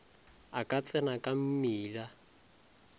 a ka tsena ka mmila